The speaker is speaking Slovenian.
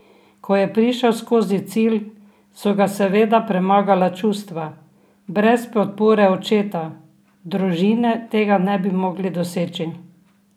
Ko je prišel skozi cilj, so ga seveda premagala čustva: "Brez podpore očeta, družine tega ne bi mogli doseči.